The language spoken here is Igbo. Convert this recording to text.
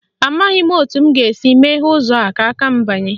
Amaghị m etu m ga-esi meghee ụzọ a ka m banye